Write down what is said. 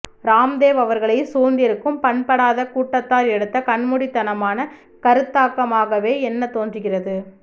ராம்தேவ் அவர்களை சூழ்ந்திருக்கும் பண்படாத கூட்டத்தார் எடுத்த கண்மூடித் தனமான கருத்தாக்கமாகவே எண்ண தோன்றுகிறது